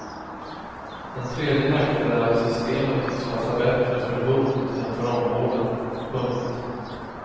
En tredje nackdel är att systemet tycks passa bättre för bot än för omvårdnad. punkt